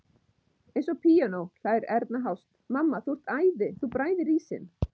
Eins og píanó, hlær Erna hást, mamma þú ert æði, þú bræðir ísinn.